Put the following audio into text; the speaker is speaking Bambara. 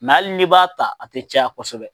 halin'i b'a ta, a te caya kosɛbɛ.